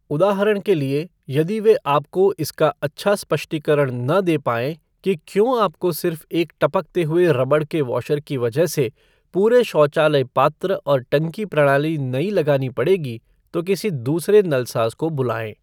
उदाहरण के लिए, यदि वे आपको इसका अच्छा स्पष्टीकरण न दे पाएँ कि क्यों आपको सिर्फ एक टपकते हुए रबड़ के वॉशर की वजह से पूरे शौचालय पात्र और टंकी प्रणाली नई लगानी पड़ेगी, तो किसी दूसरे नलसाज़ को बुलाएँ।